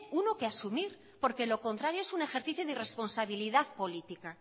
uno que asumir porque lo contrario es un ejercicio de irresponsabilidad política